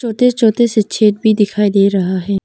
छोटे छोटे से छेद भी दिखाई दे रहा है।